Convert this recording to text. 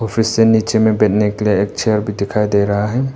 फिर से नीचे में बैठने के लिए एक चेयर भी दिखाई दे रहा है।